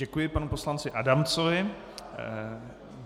Děkuji panu poslanci Adamcovi .